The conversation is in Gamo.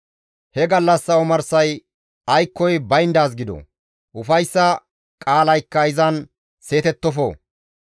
He gallassa omarsay aykkoy bayndaaz gido; ufayssa qaalaykka izan seetettofo.